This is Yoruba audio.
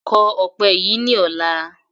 Kọ ọpẹ yí ni ọ̀la!